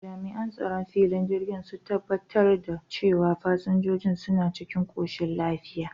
Jami'an tsaron filin jirgin sun tabbatar da cewa fasinjojin suna cikin koshin lafiya.